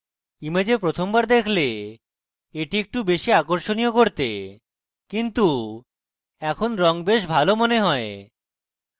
image প্রথমবার দেখলে at একটু বেশী আকর্ষনীয় করতে কিন্তু এখন রঙ বেশ ভালো মনে হয়